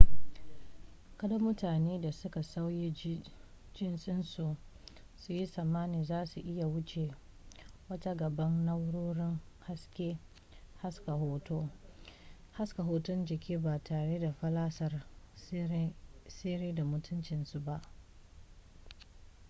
kada mutanen da suka sauya jinsinsu su yi tsammanin za su iya wuce wa ta gaban na'urorin haska hoton jiki ba tare da fallasar sirri da mutuncinsu ba